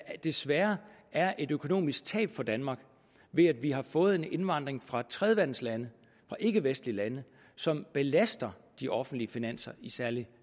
desværre er et økonomisk tab for danmark ved at vi har fået en indvandring fra tredjeverdenslande fra ikkevestlige lande som belaster de offentlige finanser i særlig